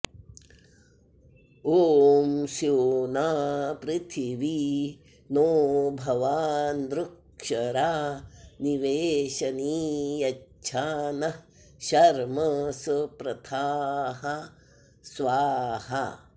ॐ स्योना पृथिवी नो भवानृक्षरा निवेशनी यच्छा नः शर्म स प्रथाः स्वाहा